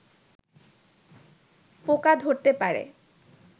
পোকা ধরতে পারে